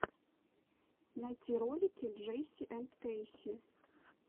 найти ролики джейси энд кэйси